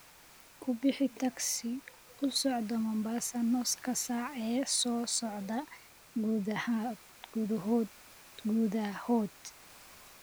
ku bixi taksi u socda Mombasa nuska saac ee soo socda gudahood